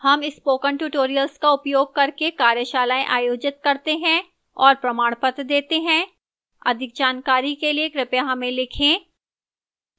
हम spoken tutorial का उपयोग करके कार्यशालाएँ आयोजित करते हैं और प्रमाणपत्र देती है अधिक जानकारी के लिए कृपया हमें लिखें